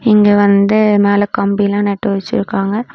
இங்க வந்து மேல கம்பி லாம் நட்டு வச்சிருக்காங்க.